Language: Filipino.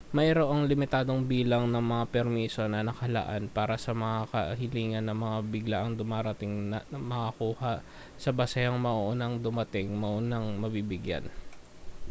mayroong limitadong bilang ng mga permiso na nakalaan para sa mga kahilingan ng mga biglaang dumarating na makukuha sa basehang maunang dumating maunang mabibigyan